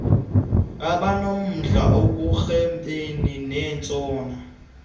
abanomdla ekurhwebeni nentshona